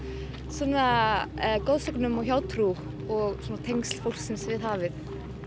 svona goðsögnum og hjátrú og tengsl fólksins við hafið